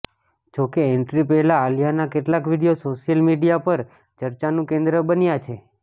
જોકે એન્ટ્રી પહેલા આલિયાના કેટલાક વીડિયો સોશિયલ મીડિયા પર ચર્ચાનું કેન્દ્ર બન્યા છે